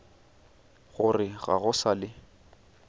gore ga go sa le